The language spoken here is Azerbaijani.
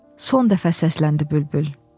Son dəfə səsləndi bülbül.